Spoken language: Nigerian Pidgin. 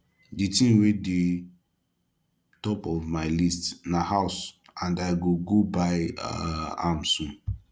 the thing wey dey top of my list na house and i go go buy um am soon